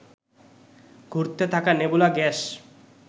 ঘুরতে থাকা nebula gas